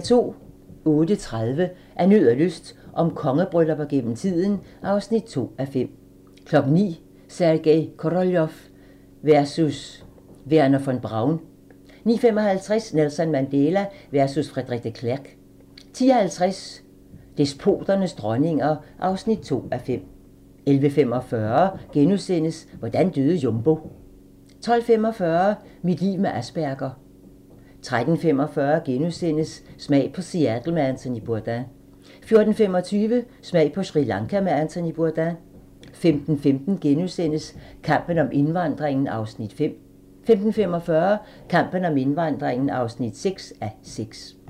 08:30: Af nød og lyst - om kongebryllupper gennem tiden (2:5) 09:00: Sergej Koroljov versus Wernher von Braun 09:55: Nelson Mandela versus Frederik de Klerk 10:50: Despoternes dronninger (2:5) 11:45: Hvordan døde Jumbo? * 12:45: Mit liv med Asperger 13:45: Smag på Seattle med Anthony Bourdain * 14:25: Smag på Sri Lanka med Anthony Bourdain 15:15: Kampen om indvandringen (5:6)* 15:45: Kampen om indvandringen (6:6)